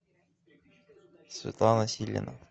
светлана силина